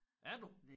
Er du?